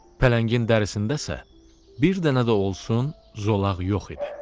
Pələngin dərisində isə bir dənə də olsun zolaq yox idi.